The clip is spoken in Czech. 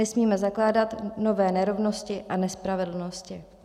Nesmíme zakládat nové nerovnosti a nespravedlnosti.